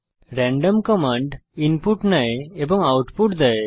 random command input নেয় এবং output দেয়